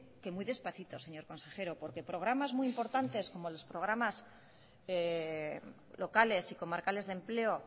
que muy despacito señor consejero porque programas muy importantes porque programas locales y comarcales de empleo